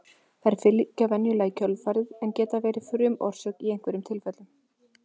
þær fylgja venjulega í kjölfarið en geta verið frumorsök í einhverjum tilfellum